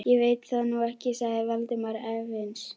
Ég veit það nú ekki sagði Valdimar efins.